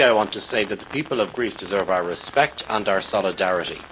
Firstly, I want to say that the people of Greece deserve our respect and our solidarity.